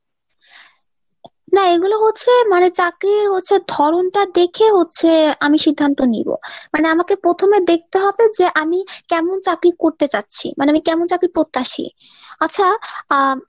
না এইগুলো হচ্ছে মানে চাকরি হচ্ছে ধরণ টা দেখে হচ্ছে আমি সিদ্ধান্ত নিবো মানে আমাকে প্রথমে দেখতে হবে যে আমি কেমন চাকরি করতে চাচ্ছি মানে আমি কেমন চাকরি প্রত্যাশী। আচ্ছা আহ